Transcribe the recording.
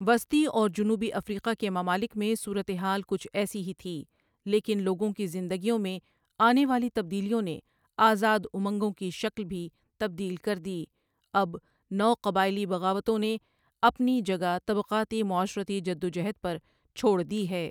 وسطی اور جنوبی افریقہ کے ممالک میں صورتحال کچھ ایسی ہی تھی لیکن لوگوں کی زندگیوں میں آنے والی تبدیلیوں نے آزاد امنگوں کی شکل بھی تبدیل کردی اب نو قبائلی بغاوتوں نے اپنی جگہ طبقاتی معاشرتی جدوجہد پر چھوڑ دی ہے۔